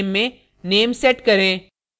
और property name में name set करें